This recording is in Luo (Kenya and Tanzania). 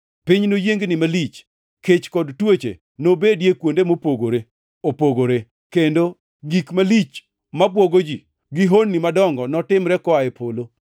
Piny noyiengni malich, kech kod tuoche nobedie kuonde mopogore opogore, kendo gik malich mabwogo ji gi honni madongo notimre koa e polo.